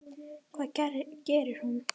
Hvað gerir hún?